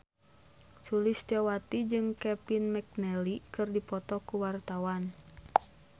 Sulistyowati jeung Kevin McNally keur dipoto ku wartawan